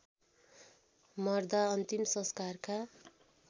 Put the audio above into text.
मर्दा अन्तिम संस्कारका